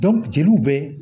jeliw bɛ